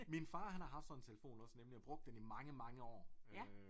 Min far han har haft sådan en telefon også nemlig og brugt den i mange mange år øh